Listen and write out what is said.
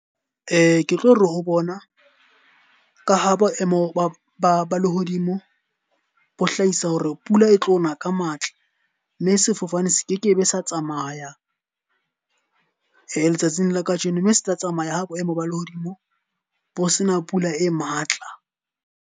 Ke tlo re ho bona, ka ha boemo ba lehodimo bo hlahisa hore pula e tlo na ka matla. Mme sefofane se kekebe sa tsamaya letsatsing la ka jeno. Mme se tla tsamaya ha boemo ba lehodimo bo sena pula e matla.